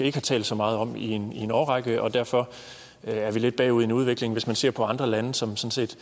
ikke har talt så meget om i en årrække og derfor er vi lidt bagud i en udvikling hvis man ser på andre lande som